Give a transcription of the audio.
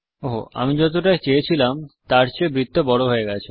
ওহো আমি যতটা চেয়েছিলাম তার চেয়ে বৃত্ত বড় হয়ে গেছে